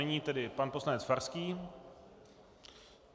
Nyní tedy pan poslanec Farský.